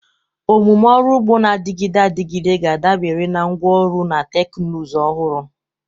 Omume ọrụ ugbo na-adịgide adịgide ga-adabere na ngwa ọrụ na teknụzụ ọhụrụ.